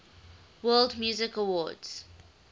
world music awards